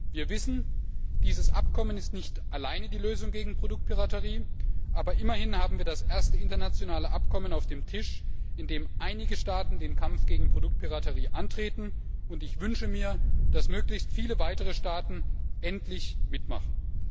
Wir wissen, dieses Abkommen ist nicht die alleinige Lösung gegen Produktpiraterie, aber immerhin haben wir das erste internationale Abkommen auf dem Tisch, in dem einige Staaten den Kampf gegen Produktpiraterie antreten, und ich wünsche mir, dass möglichst viele weitere Staaten endlich mitmachen.